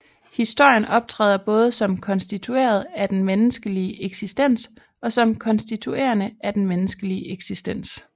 Historien optræder både som konstitueret af den menneskelige eksistens og som konstituerende af den menneskelige eksistens